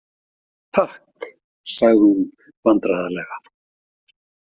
Takk, sagði hún vandræðalega.